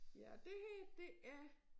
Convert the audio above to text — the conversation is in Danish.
Ja det her det er